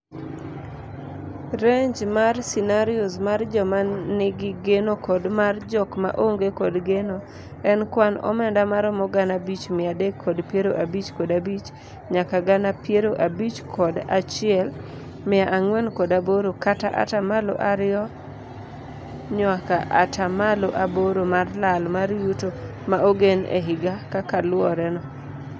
Range mar scenarios mar joma ni gi geno kod mar jok ma onge kod geno en kwan omenda maromo gana abich mia adek kod piero abich kod abich nyaka gana pier abich kod achiel mia ang'wen kod aboro kata ataa malo ariyo nyuaka ataa malao aboro mar lal mar yuto ma ogen e higa kakaluore no.